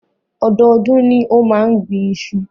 Ọdọọdún ni ó máa ń gbin iṣu.